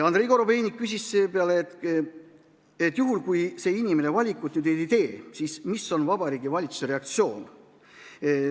Andrei Korobeinik küsis seepeale, et juhul, kui see inimene valikut ei tee, siis milline on Vabariigi Valitsuse reaktsioon.